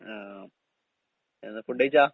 ആഹ്. എന്താ ഫുഡ് കഴിച്ചാ?